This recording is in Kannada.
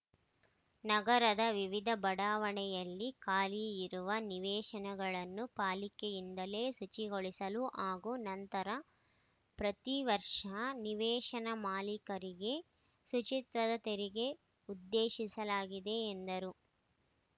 ನಗರದ ವಿವಿಧ ಬಡಾವಣೆಯಲ್ಲಿ ಖಾಲಿ ಇರುವ ನಿವೇಶನಗಳನ್ನು ಪಾಲಿಕೆಯಿಂದಲೇ ಶುಚಿಗೊಳಿಸಲು ಹಾಗೂ ನಂತರ ಪ್ರತಿವರ್ಷ ನಿವೇಶನ ಮಾಲೀಕರಿಗೆ ಶುಚಿತ್ವದ ತೆರಿಗೆ ಉದ್ದೇಶಿಸಲಾಗಿದೆ ಎಂದರು